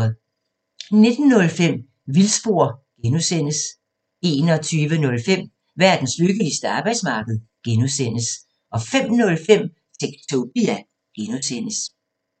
19:05: Vildspor (G) 21:05: Verdens lykkeligste arbejdsmarked (G) 05:05: Techtopia (G)